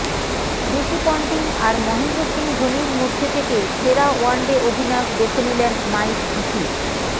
Ricky Ponting আর মহেন্দ্র সিং ধোনির মধ্যে থেকে সেরা ওয়ানডে অধিনায়ক বেছে নিলেন মাইক হাসি